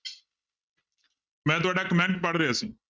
ਮੈਂ ਤੁਹਾਡਾ comment ਪੜ੍ਹ ਰਿਹਾ ਸੀ।